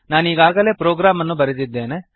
ನಾನೀಗಾಗಲೇ program ಅನ್ನು ಬರೆದಿದ್ದೇನೆ